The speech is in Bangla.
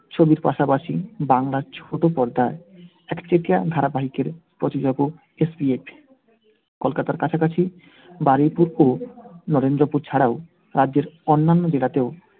ছবির পাশাপাশি বাংলার ছোট পর্দায় একচেটিয়া ধারাবাহিকের SBF কলকাতার কাছাকাছি বারুইপুর নরেন্দ্রপুর ছাড়াও রাজ্যের অন্যান্য জেলাতেও